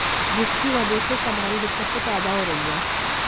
जिसकी वजह से तमाम दिक्कतें पैदा हो रही है